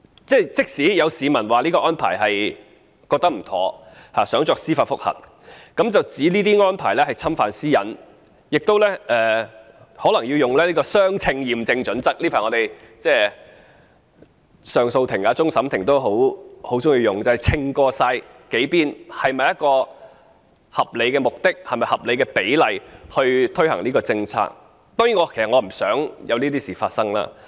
即使有市民覺得這項安排不妥當，想提出司法覆核，指這些安排侵犯私隱，他們亦可能要達致相稱的驗證準則——近期上訴法庭或終審法院也經常採用這項準則，即衡量在數方面是否有合理的目的和合理的比例來推行某項政策——當然，我其實不想看到這種事情發生。